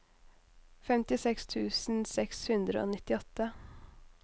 femtiseks tusen seks hundre og nittiåtte